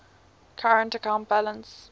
current account balance